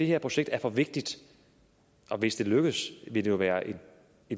her projekt er for vigtigt hvis det lykkes vil det jo være